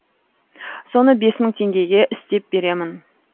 соны бес мың теңгеге істеп беремін